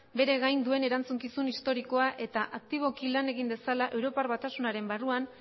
bere gain duen erantzukizun historikoa eta aktiboki lan egin dezala europar batasunaren barruan